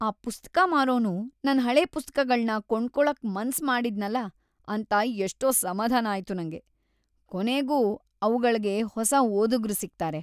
ಆ ಪುಸ್ತಕ ಮಾರೋನು ನನ್ ಹಳೆ ಪುಸ್ತಕಗಳ್ನ ಕೊಂಡ್ಕೊಳಕ್ ಮನ್ಸ್ ಮಾಡಿದ್ನಲ ಅಂತ‌ ಎಷ್ಟೋ ಸಮಾಧಾನ ಆಯ್ತು ನಂಗೆ. ಕೊನೆಗೂ ಅವ್ಗಳ್ಗೆ ಹೊಸ ಓದುಗ್ರು ಸಿಗ್ತಾರೆ.